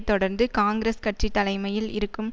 தொடர்ந்து காங்கிரஸ் கட்சி தலைமையில் இருக்கும்